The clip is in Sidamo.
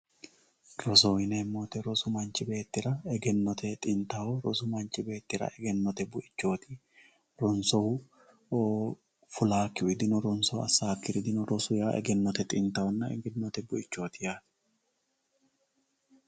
Rosoho yinemo woyite manchi beetira egenote xintaho rosu manchi beetira egenote buichoti rosu manchi betira lowo horo aano.